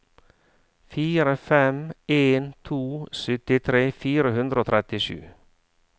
fire fem en to syttitre fire hundre og trettisju